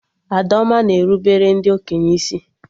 Adaoma na erubere ndị okenye isi